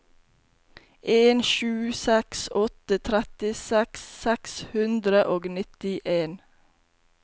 en sju seks åtte trettiseks seks hundre og nittien